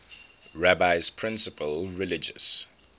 rabbi's principal religious